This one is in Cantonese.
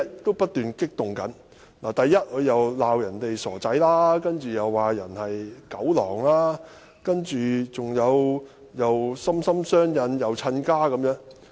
第一，他責罵別人是"傻仔"，接着又罵別人是"狗狼"，又說"心心相印"、"親家"。